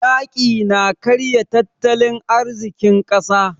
Yaƙi na karya tattalin arzikin ƙasa.